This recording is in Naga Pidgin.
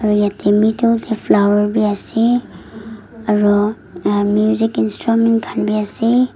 yateh middle dae flower bhi ase aro uhh music instrument khan bhi ase.